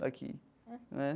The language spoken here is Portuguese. Daqui, né?